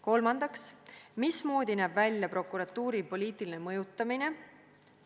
Kolmandaks: mismoodi näeb välja prokuratuuri poliitiline mõjutamine?